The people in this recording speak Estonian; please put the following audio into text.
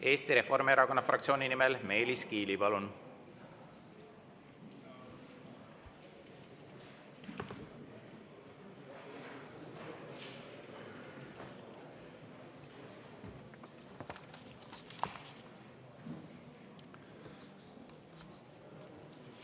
Eesti Reformierakonna fraktsiooni nimel Meelis Kiili, palun!